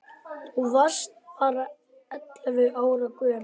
Og þú varst bara ellefu ára gömul.